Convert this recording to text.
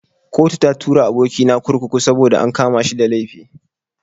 Kotu ta tura aboki na kurkuku saboda an kama shi da laifi.